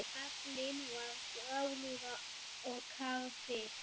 Aflinn var grálúða og karfi.